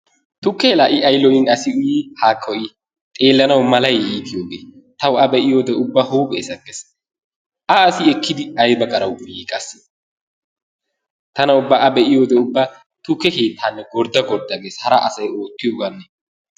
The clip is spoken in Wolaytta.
Tukkee i laa ay lo'in asi uyii, haakko I. Xeellanawu malay iitiyogee. Tawu A be'iyode ubba huuphphee sakkees. A asi ekkidi ayba gara uyii qassi? Tana ubba A be'iyode ubba tukke keettaanne gordda gordda gees. Hara asay oottiyoganne.